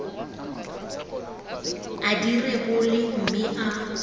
a di rebole mme a